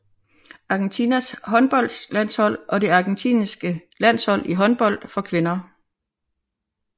Argentinas håndboldlandshold er det argentinske landshold i håndbold for kvinder